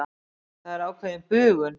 Það er ákveðin bugun.